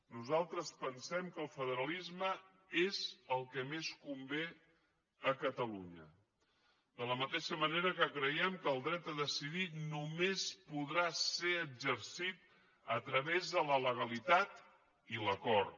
nosaltres pensem que el federalisme és el que més convé a catalunya de la mateixa manera que creiem que el dret a decidir només podrà ser exercit a través de la legalitat i l’acord